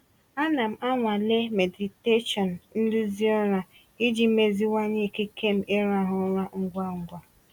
Ana m anwale meditation nduzi ụra iji meziwanye ikike m ịrahụ ụra ngwa ngwa.